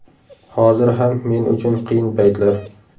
Hozir ham men uchun qiyin paytlar.